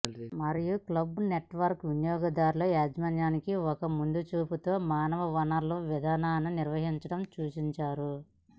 మరియు club network వినియోగదారుల యజమాని ఒక ముందుచూపుతో మానవ వనరుల విధాన నిర్వహించడం సూచించారు